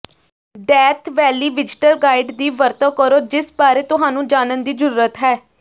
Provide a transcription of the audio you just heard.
death valley visitor guide ਦੀ ਵਰਤੋਂ ਕਰੋ ਜਿਸ ਬਾਰੇ ਤੁਹਾਨੂੰ ਜਾਣਨ ਦੀ ਜ਼ਰੂਰਤ ਹੈ